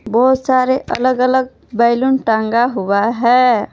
बहोत सारे अलग अलग बैलून टांगा हुआ है।